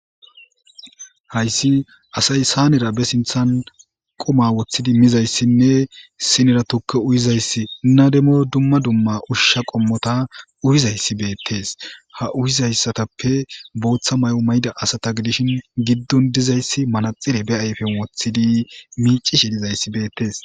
Hayssi asay saanera be sinthan qoma woththidi mizayssinne sinera tukke uyizayssi nademoy dumma dumma ushsha qommota uyizayssi beettees ha uyizayssatappe booththa may'o mayda asata gidishin giddon dizayssi malaxire be ayfen woththidi miici shi lizayssi beettees.